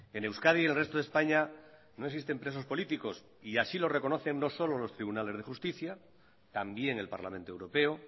en euskadi y el resto de españa no existen presos políticos y así lo reconocen no solo los tribunales de justicia también el parlamento europeo